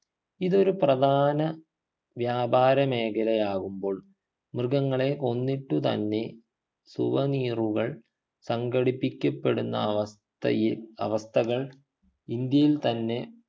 ഇതൊരു പ്രധാന വ്യാപാര മേഖലയാകുമ്പോൾ മൃഗങ്ങളെ കൊന്നിട്ട് തന്നെ souvenir കൾ സംഘടിപ്പിക്കപ്പെടുന്ന അവസ്ഥയെ അവസ്ഥകൾ ഇന്ത്യയിൽ തന്നെ